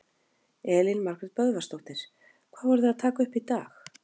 Elín Margrét Böðvarsdóttir: Hvað voru þið að taka upp í dag?